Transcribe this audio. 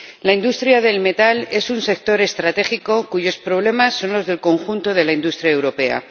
La industria del metal es un sector estratégico cuyos problemas son los del conjunto de la industria europea.